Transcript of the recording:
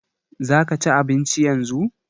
Za ka ci abinci yanzu?